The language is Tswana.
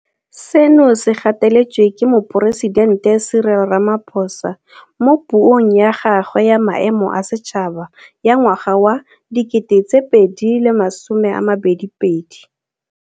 Seno se gateletswe ke Moporesidente Cyril Ramaphosa mo Puong ya gagwe ya Maemo a Setšhaba ya ngwaga wa 2022.